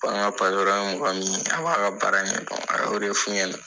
Ko an ka ye mɔgɔ min ye a b'a ka baara ɲɛ dɔn a ye o de f'u ɲɛna.